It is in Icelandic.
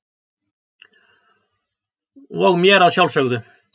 og mér að sjálfsögðu.